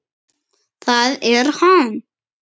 ÞAÐ ER HANN!